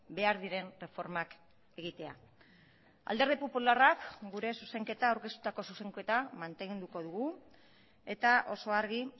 behar diren erreformak egitea alderdi popularrak gure zuzenketa aurkeztutako zuzenketa mantenduko dugu eta oso argi